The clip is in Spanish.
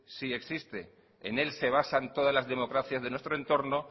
sí existe en él se basa todas las democracias de nuestro entorno